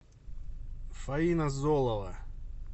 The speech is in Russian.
фаина золова